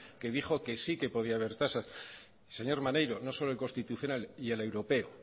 que dijo que sí que podía haber tasas señor maneiro no solo el constitucional y el europeo